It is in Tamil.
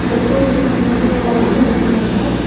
இந்த கோவிலுக்கு முன்னாடி ஒரு லைட் வச்சிருக்காங்க.